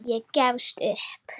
Ég gefst upp